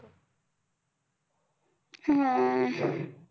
हम्म